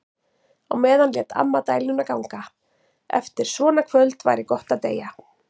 Á meðan lét amma dæluna ganga: Eftir svona kvöld væri gott að deyja.